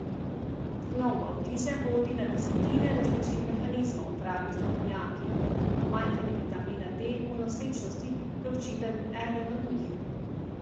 No, v avtizem vodi na desetine različnih mehanizmov, pravijo strokovnjaki, in pomanjkanje vitamina D v nosečnosti je očitno eden od njih.